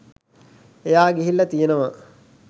එයා ගිහිල්ල තියනව